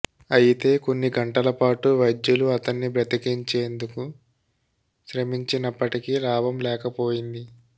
అయితే కొన్ని గంటలపాటు వైద్యులు అతన్ని బ్రతికించేందుకు శ్రమించినప్పటికీ లాభం లేకపోయింది